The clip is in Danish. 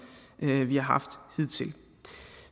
vi har haft hidtil